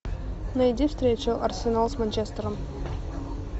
найди встречу арсенал с манчестером